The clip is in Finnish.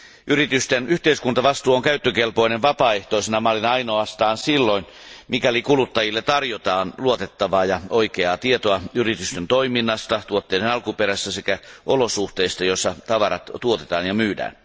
Yritysten yhteiskuntavastuu on käyttökelpoinen vapaaehtoisena mallina ainoastaan silloin, mikäli kuluttajille tarjotaan luotettavaa ja oikeaa tietoa yritysten toiminnasta, tuotteiden alkuperästä sekä olosuhteista, joissa tavarat tuotetaan ja myydään.